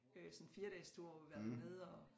Øh sådan en firedagestur hvor vi har været dernede og